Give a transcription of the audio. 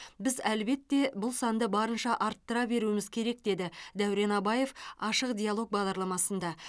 біз әлбетте бұл санды барынша арттыра беруіміз керек деді дәурен абаев ашық диалог бағдарламасында